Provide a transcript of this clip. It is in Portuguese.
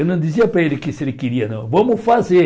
Eu não dizia para ele que se ele queria não, vamos fazer.